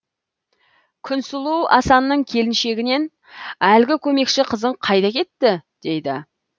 күнсұлу асанның келіншегінен әлгі көмекші қызың қайда кетті дейді